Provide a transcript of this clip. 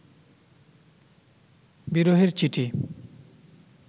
বিরহের চিঠি